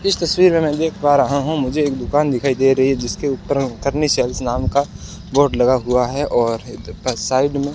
इस तस्वीर में मैं देख पा रहा हूं मुझे एक दुकान दिखाई दे रही है जिसके ऊपर सेल्स नाम का बोर्ड लगा हुआ है और इधर साइड में --